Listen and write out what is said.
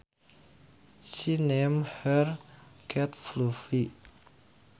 She named her cat Fluffy